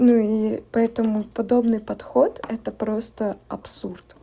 ну и поэтому подобный подход это просто абсурд